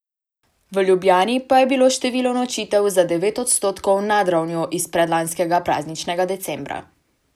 V Ljubljani pa je bilo število nočitev za devet odstotkov nad ravnjo iz predlanskega prazničnega decembra.